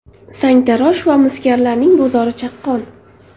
Sangtarosh va misgarlarning bozori chaqqon.